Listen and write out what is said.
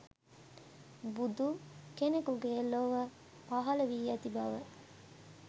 බුදු කෙනෙකුගේ ලොව පහළ වී ඇති බව